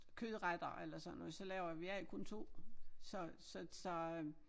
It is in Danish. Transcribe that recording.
Kødretter eller sådan noget så laver jeg vi er jo kun 2 så så så øh